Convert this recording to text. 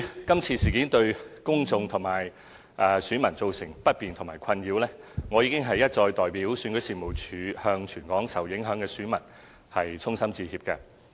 今次事件對公眾及選民造成不便和困擾，對此我已經一再代表選舉事務處向全港受影響選民衷心致歉。